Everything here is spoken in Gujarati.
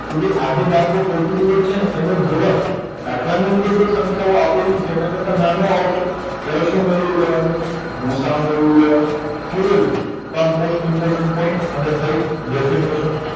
કે જે આ જે દાખલો પાર્ટીક્યુલર છેને એનો જવાબ દાખલાની અંદર જે સંખ્યાઓ આપેલી છે એના કરતા નાનો આવશે ત્યારે શું મેળવી લેવાનું ગુસાઅ મેળવી લેવાનો તો આ મોસ્ટ ઈમ્પોટન પોઇટ અને થય ડેફીનેસન